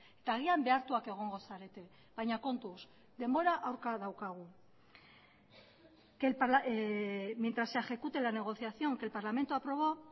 eta agian behartuak egongo zarete baina kontuz denbora aurka daukagu mientras se ejecute la negociación que el parlamento aprobó